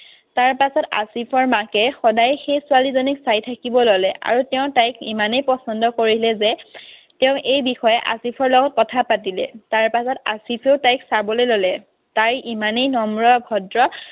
তাৰপাছত আছিফৰ মাকে সদায় সেই ছোৱালীজনীক চাই থাকিব ললে। আৰু তেওঁ তাইক ইমানেই পছন্দ কৰিলে যে তেওঁ এই বিষয়ে আছিফৰ লগত কথা পাতিলে। তাৰপাছত আছিফেও তাইক চাবলৈ ললে। তাই ইমানেই নম্ৰ ভদ্ৰ